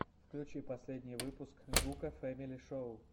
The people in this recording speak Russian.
включи последний выпуск гука фэмили шоу